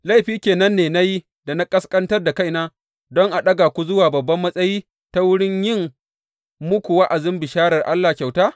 Laifi ke nan ne na yi da na ƙasƙantar da kaina, don a ɗaga ku zuwa babban matsayi ta wurin yin muku wa’azin bisharar Allah kyauta?